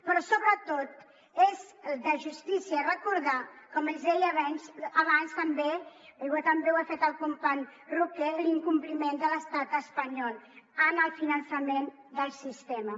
però sobretot és de justícia recordar com els deia abans també com també ho ha fet el company roquer l’incompliment de l’estat espanyol en el finançament del sistema